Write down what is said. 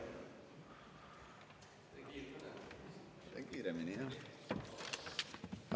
Teen kiiremini, jah.